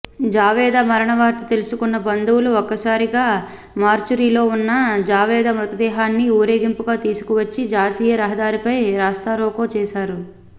జూవేద మరణవార్త తెలుసుకున్న బంధువులు ఒక్కసారిగా మార్చురీలో ఉన్న జూవేద మృతదేహాన్ని ఊరేగింపుగా తీసుకువచ్చి జాతీయ రహదారిపై రాస్తారోకో చేశారు